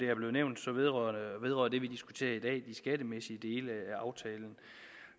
er blevet nævnt vedrører det vi diskuterer i dag de skattemæssige dele